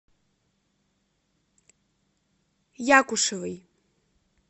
якушевой